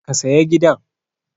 Ka saya gidan!